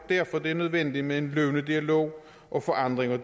derfor det er nødvendigt med en løbende dialog og forandring af